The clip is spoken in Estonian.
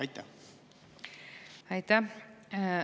Aitäh!